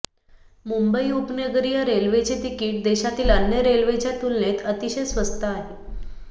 मुंबई उपनगरीय रेल्वेचे तिकिट देशातील अन्य रेल्वेच्या तुलनेत अतिशय स्वस्त आहे